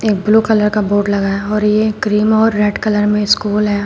एक blue colour का board लगा है और ये क्रीम और रेड कलर में स्कूल है।